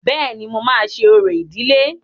Bẹ́ẹ̀ni, mo máa ṣe orò ìdílé.